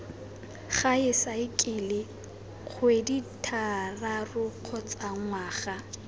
gae saekele kgwedithataro kgotsa ngwaga